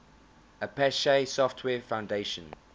apache software foundation